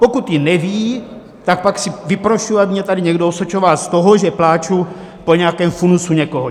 Pokud ji neví, tak pak si vyprošuji, aby mě tady někdo osočoval z toho, že pláču po nějakém funusu někoho!